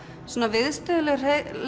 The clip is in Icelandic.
viðstöðulaus